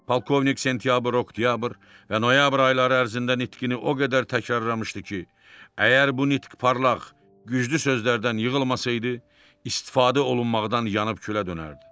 Polkovnik sentyabr, oktyabr və noyabr ayları ərzində nitqini o qədər təkrarlamışdı ki, əgər bu nitq parlaq, güclü sözlərdən yığılmasaydı, istifadə olunmaqdan yanıb külə dönərdi.